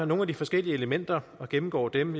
nogle af de forskellige elementer og gennemgår dem